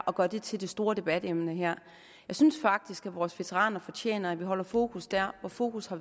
og gør det til det store debatemne jeg synes faktisk at vores veteraner fortjener at vi holder fokus der hvor fokus